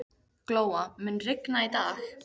Glóa, mun rigna í dag?